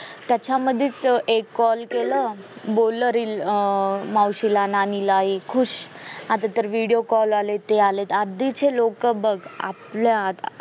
त्याच्यामध्येच एक call केलं बोललं मावशीला नानीला कि खुश आता तर video call आलेत हे आलेत आधीचे लोक बघ आपल्यात